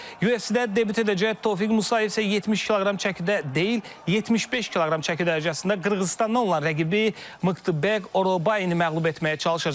UFC-də debüt edəcək Tofiq Musayev isə 70 kq çəkidə deyil, 75 kq çəki dərəcəsində Qırğızıstandan olan rəqibi Miqtabek Orobaini məğlub etməyə çalışacaq.